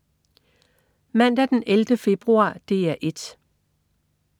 Mandag den 11. februar - DR 1: